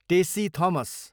Tessy Thomas